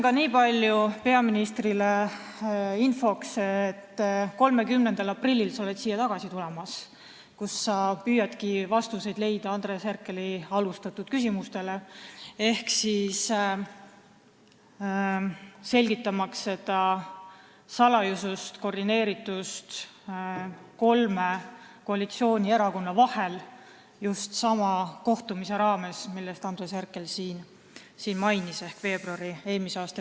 Ma ütlen peaministrile niipalju infoks, et 30. aprillil tuled sa siia tagasi ja püüad leida vastuseid Andres Herkeli algatatud küsimustele, et selgitada seda salajasust ja koordineeritust kolme koalitsioonierakonna vahel, ma pean silmas just sama kohtumist eelmise aasta veebruaris, mida Andres Herkel siin mainis.